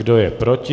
Kdo je proti?